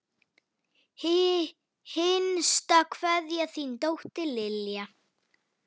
Hinsta kveðja, þín dóttir, Lilja.